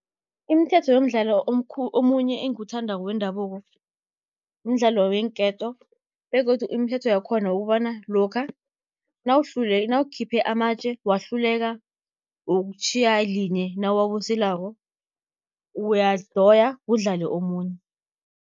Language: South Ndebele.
Imithetho yomdlalo omunye engiwuthandako wendabuko, mdlalo weenketo begodu imithetho yakhona ukobana lokha nawukhiphe amatje, wahluleka ukutjhiya linye nawuwabuselako uyadoya kudlale omunye.